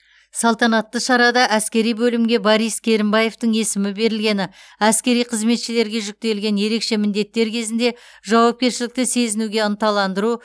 салтанатты шарада әскери бөлімге борис керімбаевтің есімі берілгені әскери қызметшілерге жүктелген ерекше міндеттер кезінде жауапкершілікті сезінуге ынталандыру